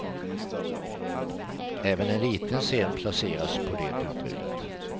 Även en liten scen placeras på det utrymmet.